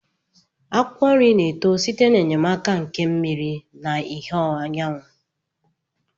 Akwụkwọ nri na-eto site n'enyemaka nke mmiri na ìhè anyanwụ